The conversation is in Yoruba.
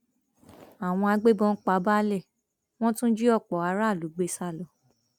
àwọn agbébọn pa baálé wọn tún jí ọpọ aráàlú gbé sá lọ